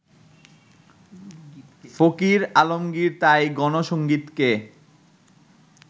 ফকির আলমগির তাই গণসংগীতকে